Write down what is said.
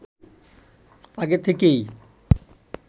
আগে থেকেই